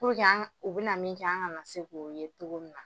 an ŋa u bi na min kɛ an ŋana se k'o ye togo min na.